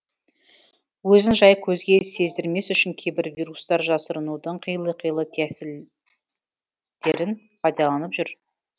өзін жай көзге сездірмес үшін кейбір вирустар жасырынудың қилы қилы тәсілдерін пайдаланып жүр